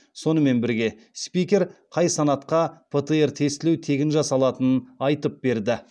сонымен бірге спикер қай санатқа птр тестілеу тегін жасалатынын айтып берді